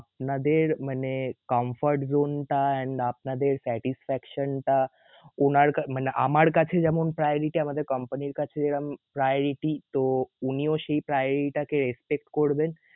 আপনাদের মানে comfort zone টা and আপনাদের satisfaction টা উনার কাছ~ মানে আমার কাছে যেমন priority আমাদের company এর কাছে এরম priority. তো উনিও সেই priority টা কে respect করবেন.